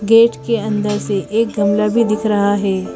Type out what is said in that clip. Gate के अंदर से एक गमला भी दिख रहा है।